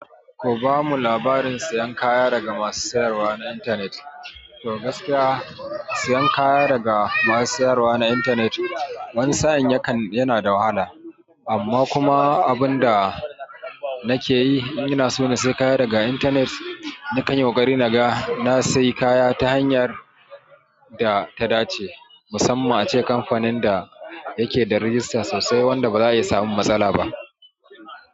Ku bamu labarin siyan kaya daga masu sayarwa na intanet. To gaskiya, siyan kaya daga masu sayarwa na intanet wani sa'in yakan yana da wahala. Amma kuma abin da nake yi inina so na siya kaya daga intanet, nakan yi ƙoƙari naga na sai kaya ta hanyar da ta dace, musamman ace kamfanin da yake da rigista sosai wanda ba za a iya samun matsala ba.